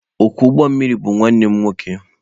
Ọkwọ ụgbọ mmiri bụ nwanne m nwoke.